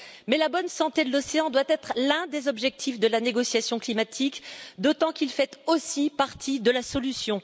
Mais la bonne santé de l'océan doit être l'un des objectifs de la négociation climatique, d'autant qu'il fait aussi partie de la solution.